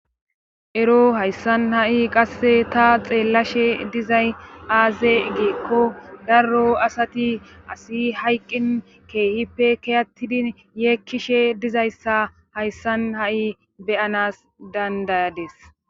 ero hayssan ha'i qasse ta xeellashe dizay aaze giikko darro asati asi hayqqin keehippe kiyattidi yeekkishe dizayssa hayssan ha'i beyanas dandayadis.